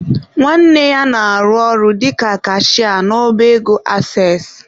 Nwanne ya na-arụ ọrụ dịka kashịa n'ọba ego ases.